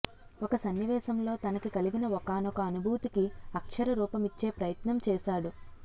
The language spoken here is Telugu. ఒక సన్నివేశంలో తనకి కలిగిన ఒకానొక అనుభూతికి అక్షరరూపమిచ్చే ప్రయత్నం చేశాడు